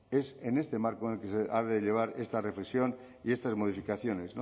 es en este marco en el que se ha de llevar esta reflexión y estas modificaciones